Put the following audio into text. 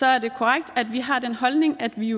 er det korrekt at vi har den holdning at vi